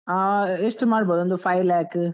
ಆ ಎಷ್ಟೂ ಮಾಡ್ಬೋದು, ಒಂದು five lakh .